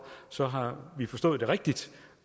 så har vi forstået det rigtigt